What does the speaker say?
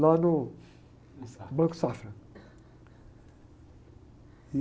lá no...o Safra.anco Safra.